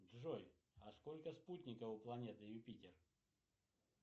джой а сколько спутников у планеты юпитер